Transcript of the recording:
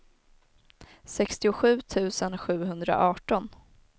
sextiosju tusen sjuhundraarton